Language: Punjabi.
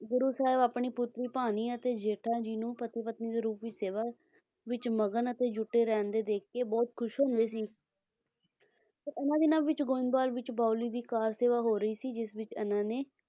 ਗੁਰੂ ਸਾਹਿਬ ਆਪਣੀ ਪੁੱਤਰੀ ਭਾਨੀ ਅਤੇ ਜੇਠਾ ਜੀ ਨੂੰ ਪਤੀ ਪਤਨੀ ਦੇ ਰੂਪ ਵਿੱਚ ਸੇਵਾ ਵਿੱਚ ਮਗਨ ਅਤੇ ਜੁੱਟੇ ਰਹਿੰਦੇ ਦੇਖਕੇ ਬਹੁਤ ਖੁਸ਼ ਹੁੰਦੇ ਸੀ ਹੁੰ ਹੁੰ ਤੇ ਇਹਨਾਂ ਦਿਨਾਂ ਵਿੱਚ ਗੋਇੰਦਵਾਲ ਵਿੱਚ ਬਾਉਲੀ ਦੀ ਕਾਰ ਸੇਵਾ ਹੋ ਰਹੀ ਸੀ ਜਿਸ ਵਿੱਚ ਇਹਨਾਂ ਨੇ